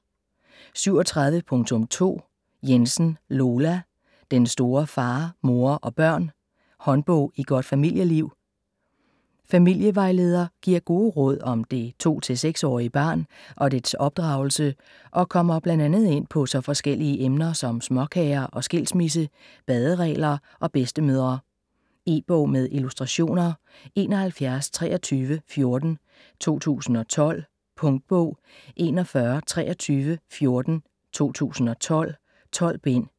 37.2 Jensen, Lola: Den store Far, mor & børn: håndbog i godt familieliv Familievejleder giver gode råd om det 2-6 årige barn og dets opdragelse og kommer bl.a. ind på så forskellige emner som småkager og skilsmisse, baderegler og bedstemødre. E-bog med illustrationer 712314 2012. Punktbog 412314 2012. 12 bind.